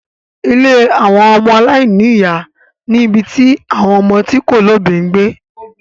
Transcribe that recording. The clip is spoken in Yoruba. Ilé àwọn ọmọ aláìní ìyá ni ibi tí àwon ọmọ tí kò lóbìí ń gbé.